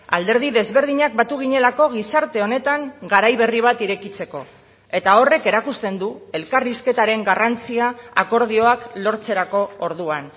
alderdi desberdinak batu ginelako gizarte honetan garai berri bat irekitzeko eta horrek erakusten du elkarrizketaren garrantzia akordioak lortzerako orduan